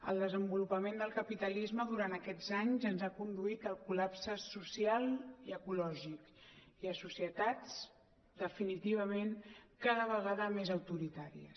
el desenvolupament del capitalisme durant aquests anys ens ha conduit al col·lapse social i ecològic i a societats definitivament cada vegada més autoritàries